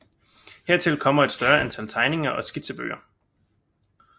Hertil kommer et større antal tegninger og skitsebøger